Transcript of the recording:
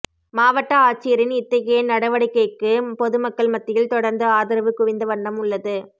மாவட்ட ஆட்சியரின் இத்தகைய நடவடிக்கைக்கு பொதுமக்கள் மத்தியில் தொடர்ந்து ஆதரவு குவிந்தவண்ணம் உள்ளது